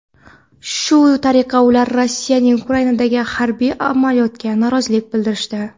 Shu tariqa ular Rossiyaning Ukrainadagi harbiy amaliyotiga norozilik bildirishdi.